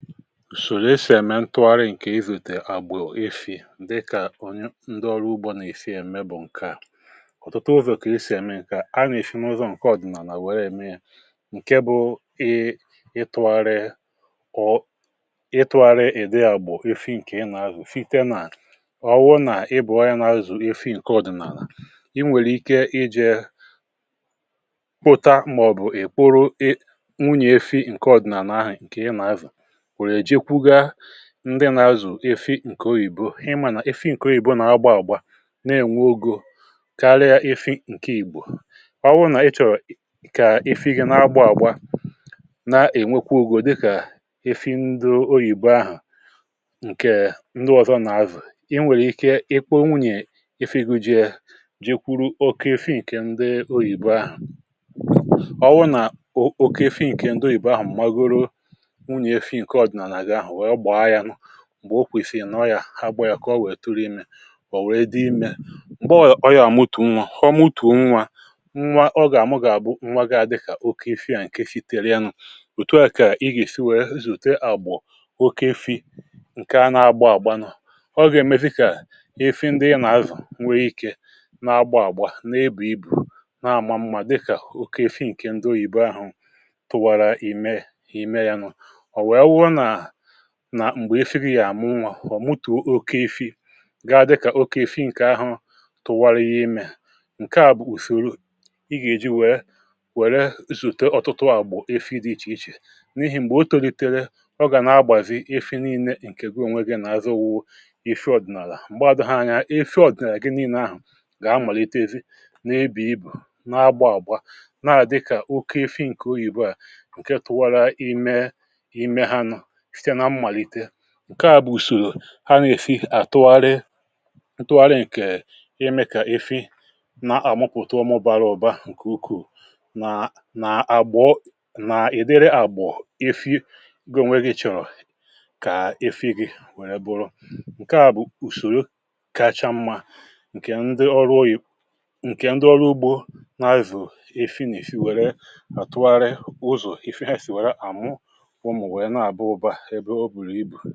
sòlò esì ème ntụgharị ǹkè izùètè àgbè ifì dịkà onye ndị ọrụ ugbȯ nà-esi ème bụ̀ ǹke à ọ̀tụtụ ụzọ̀ kà esì ème nke à um a nà-èsinuzo ǹke ọ̀dị̀nàlà wère mee ya ǹke bụ ị ị tụgharịa ọ ọ ị tụgharịa ìde àgbụ̀ efi ǹkè ị nà-azụ̀ site nà ọwụwụ nà ị bụ̀ ọya nà-azụ̀ efi ǹkè ọ̀dị̀nàlà ị nwèrè ike ijė pụta mà ọ̀ bụ̀ ị̀ kpuru i nwunyè efi ǹkè ọ̀dị̀nàlà ahụ̀ ǹkè ị nà-azụ̀ ndị nà-azù efi ǹkè oyìbo um ịmȧ nà efi ǹkè oyìbo nà-agba àgba na-ènwe ogè karịa efi ǹkè ìgbò ọ wụ nà ịchọ̀ kà efi ihe nà-agba àgba na-ènwekwa ogè dịkà efi ndụ oyìbo ahụ̀ ǹkè ndụ ọ̀zọ nà-azù i nwèrè ike ịkwa owunyè efi gụ̇ jiė ji kwuru oke efi ǹkè ndị oyìbo ahụ̀ ọ wụ nà oke efi ǹkè ndụ ìbè ahụ̀ m̀ magoro m̀gbè okwìsìnọ̀ yà ha gbaa ya kà ọ wètụrụ imė mà ọ̀ wèdụ imė m̀gbè ọyà àmụtù nwa ọ mụtù nwa ọ gà àmụ gà àbụ nwagȧ dịkà oke ife ya ǹke si tèrịanụ̇ òtu ya kà ị gà isi wèe zùrùte à bụ̀ oke ife ǹkè na-agba àgba nọ̀ ọ gà èmezi kà ife ndị ị nà azà nwe ikė na-agba àgba n’ebù ibù um na-àma mmȧ dịkà oke ife ǹke ndo yìbe ahụ̀ tụwàrà ìme ìme ya nụ̇ m̀gbè efie gị yàmụ nwà màọ̀bụ̀ mutù oke ịfị̇ gị̇ adịkà oke ị̀fị̇ ǹkè ahụ̀ tụwara ihe imė ǹke à bụ̀ ùsòrò ị gà èji wèe wère zùte ọ̀tụ̀tụ à bụ̀ efi dị ichè ichè n’ihi m̀gbè o tòlìtèrè ọ gà nà-agbàzi efi nii̇nė ǹkè gụọ ònwe gị nà azụ wụ ihe ndị ọ̀dị̀nàlà m̀gbe à dụ̀ha anyȧ efi ọ̀dị̀nàlà gị nii̇nė ahụ̀ gà amàlitezi nà ebè ibù na-agbà àgbà na-àdịkà oke ị̇fị̇ ǹkè oyìbo à ǹke tụwara i mee um ǹke à bụ̀ ùsòrò ha nà-èfi àtụgharị ǹtụgharị ǹkè ime kà efi na-àgmụpụta ọmụbàrà ụ̀ba ǹkè ukwuu nàà àgbọ nà ị̀dịrị àgbọ̀ efi goo nweghi̇ chọ̀rọ̀ kà efi gị wèe bụrụ ǹke à bụ̀ ùsòrò kacha mmȧ ǹkè ndị ọrụ oyì ǹkè ndị ọrụ ugbȯ na-azụ̀ efi nà-èfi wère àtụgharị ụzọ̀ efi ha sì wère àmụ ǹkẹ̀ bụ̀ ọ bụrụ ibù